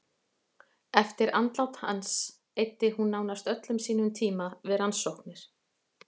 Eftir andlát hans eyddi hún nánast öllum sínum tíma við rannsóknir.